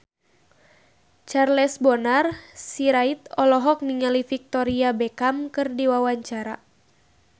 Charles Bonar Sirait olohok ningali Victoria Beckham keur diwawancara